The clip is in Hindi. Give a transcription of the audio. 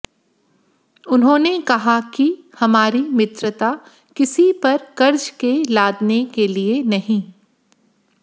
उन्होंने कहा कि हमारी मित्रता किसी पर कर्ज के लादने के लिए नहीं